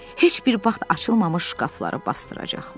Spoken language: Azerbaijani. Heç bir vaxt açılmamış şkafları basdıracaqlar.